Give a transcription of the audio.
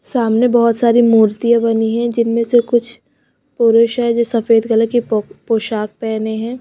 सामने बहोत सारी मूर्तियां बनी हैं जिनमें से कुछ पुरुष हैं जो सफेद कलर की पो पोशाक पहने हैं।